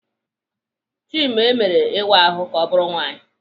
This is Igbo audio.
Chime mere ịwa ahụ ka ọ bụrụ nwaanyị.